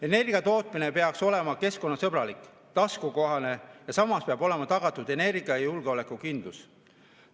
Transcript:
Energiatootmine peaks olema keskkonnasõbralik, taskukohane ja samas peab olema tagatud energiajulgeoleku kindlus.